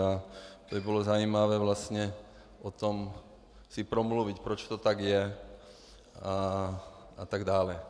A to by bylo zajímavé vlastně o tom si promluvit, proč to tak je, a tak dále.